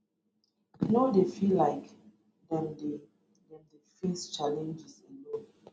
no dey feel like dem dey dem dey face challenges alone